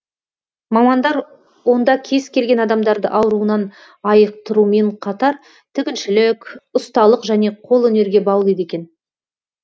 мамандар онда кез келген адамдарды ауруынан айықтырумен қатар тігіншілік ұсталық және қолөнерге баулиды екен